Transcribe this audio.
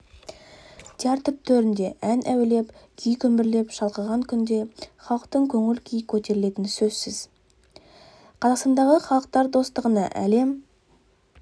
театр төрінде ән әуелеп күй күмбірлеп шалқыған күнде халықтың көңіл-күйі көтерілетіні сөзсіз қазақстандағы халықтар достығына әлем